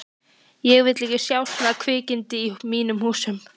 Ég vil ekki sjá svona kvikindi í mínum húsum!